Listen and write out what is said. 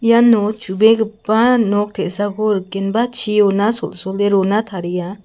iano chubegipa nok te·sako rikenba chiona sol·sole rona taria.